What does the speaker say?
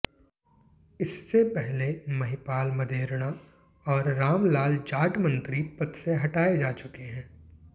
इससे पहले महिपाल मदेरणा और रामलाल जाट मंत्री पद से हटाए जा चुके हैं